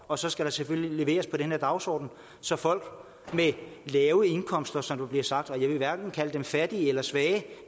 og så skal der selvfølgelig leveres til den her dagsorden så folk med lave indkomster som der bliver sagt jeg vil hverken kalde dem fattige eller svage